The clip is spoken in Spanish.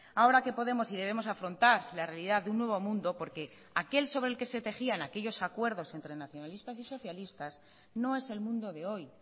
ahora que podemos y debemos afrontar la realidad de un nuevo mundo porque aquel sobre el que se tejían aquellos acuerdos entre nacionalistas y socialistas no es el mundo de hoy